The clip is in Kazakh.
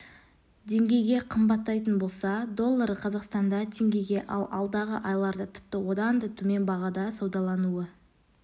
деңгейге қымбаттайтын болса доллары қазақстанда теңгеге ал алдағы айларда тіпті одан да төмен бағада саудалануы